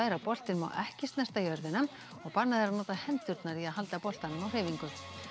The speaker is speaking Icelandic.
að boltinn má ekki snerta jörðina og bannað er að nota hendurnar í að halda boltanum á hreyfingu